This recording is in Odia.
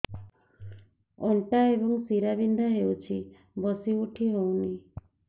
ଅଣ୍ଟା ଏବଂ ଶୀରା ବିନ୍ଧା ହେଉଛି ବସି ଉଠି ହଉନି